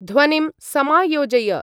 ध्वनिं समायोजय।